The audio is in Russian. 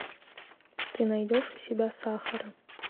ты найдешь у себя сахара